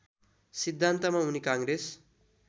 सिद्धान्तमा उनी काङ्ग्रेस